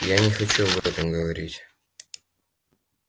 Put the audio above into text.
я не хочу об этом говорить